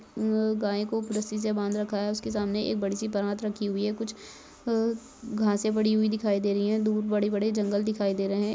इन गाय को रस्सी से बांध रखा है उसके सामने एक बड़ी सी परात रखी हुई है कुछ घासें पड़ी हुई दिखाई दे रही है दूर बड़े बड़े जंगल दिखाई दे रहे है।